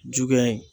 Jugu ye